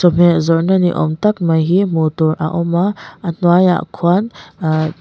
chawhmeh zawrhna ni awm tak mai hi hmuh tur a awm a a hnuaiah khuan ahh--